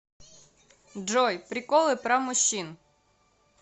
джой приколы про мужчин